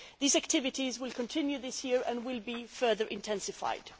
These activities will continue this year and will be further intensified.